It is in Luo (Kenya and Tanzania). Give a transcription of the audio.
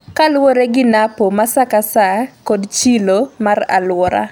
kaluwre gi napo ma sa ka sa kod chilo mar aluora